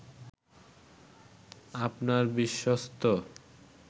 আপনার বিশ্বস্ত